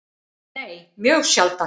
Nei, mjög sjaldan.